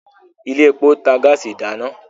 ilé èpo ntà gáàsì ìdáná.